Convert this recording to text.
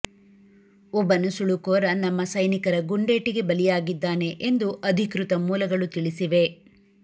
ಒಬ್ಬ ನುಸುಳುಕೋರ ನಮ್ಮ ಸೈನಿಕರ ಗುಂಡೇಟಿಗೆ ಬಲಿಯಾಗಿದ್ದಾನೆ ಎಂದು ಅಧಿಕೃತ ಮೂಲಗಳು ತಿಳಿಸಿವೆ